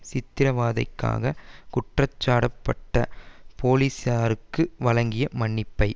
சித்திரவதைக்காக குற்றம் சாட்டப்பட்ட போலிஸாருக்கு வழங்கிய மன்னிப்பை